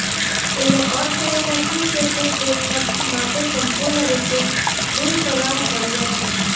તેનો અર્થ એ નથી કે તે તેમના માટે સંપૂર્ણ રીતે બિનસલાહભર્યા છે